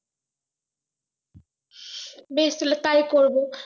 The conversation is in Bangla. বেশ তাহলে তাই করবো